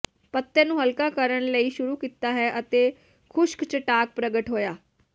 ਪੱਤੇ ਨੂੰ ਹਲਕਾ ਕਰਨ ਲਈ ਸ਼ੁਰੂ ਕੀਤਾ ਹੈ ਅਤੇ ਖੁਸ਼ਕ ਚਟਾਕ ਪ੍ਰਗਟ ਹੋਇਆ